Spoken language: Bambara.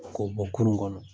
Ko bɔn kulun kɔnɔ.